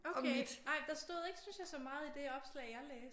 Okay nej der stod ikke syntes jeg så meget i det opslag jeg læste